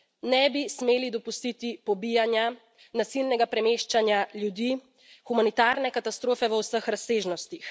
Ne bi smeli dopustiti pobijanja, nasilnega premeščanja ljudi, humanitarne katastrofe v vseh razsežnostih.